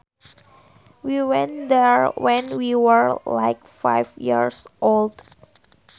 We went there when we were like five years old